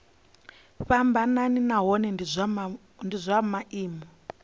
fhambanaho nahone zwa maimo a